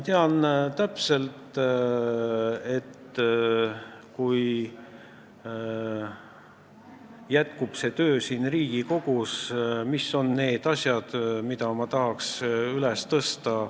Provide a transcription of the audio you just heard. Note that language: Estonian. Kui mu töö siin Riigikogus jätkub, siis ma tean täpselt, mis on need asjad, mida ma tahaks üles tõsta.